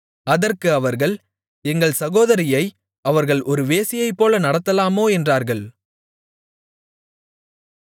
அதற்கு அவர்கள் எங்கள் சகோதரியை அவர்கள் ஒரு வேசியைப்போல நடத்தலாமோ என்றார்கள்